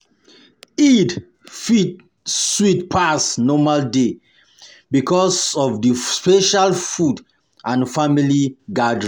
Eid fit sweet pass um normal day because of the special food and family gathering